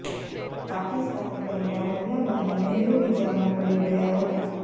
પાકિસ્તાને કરેલા હુમલા બાદ નહેરુ વિચારમાં પડી ગયા હતા